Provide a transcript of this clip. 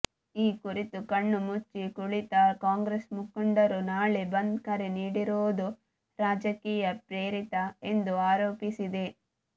ಈ ಕುರಿತು ಕಣ್ಣು ಮುಚ್ಚಿ ಕುಳಿತ ಕಾಂಗ್ರೆಸ್ ಮುಖಂಡರು ನಾಳೆ ಬಂದ್ ಕರೆ ನೀಡಿರುವುದು ರಾಜಕೀಯ ಪ್ರೇರಿತ ಎಂದು ಆರೋಪಿಸಿದೆ